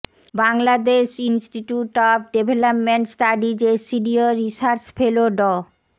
Bangladesh Institute of Development স্টাডিজের senior research fellow ড